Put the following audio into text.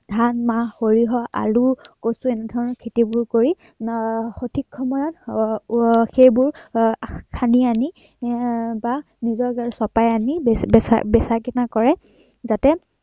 ধান, মাহ, সৰিয়হ, আলু, কচু এনেবোৰ খেতি কৰি আহ সঠিক সময়ত আহ সেইবোৰ আহ খান্দি আনি বা এৰ চপাই আনি বেচা-কিনা কৰে